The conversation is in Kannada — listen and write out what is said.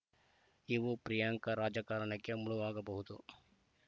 ಇವು ಪ್ರಿಯಾಂಕಾ ರಾಜಕಾರಣಕ್ಕೆ ಮುಳುವಾಗಬಹುದು